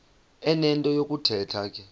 enento yokuthetha ke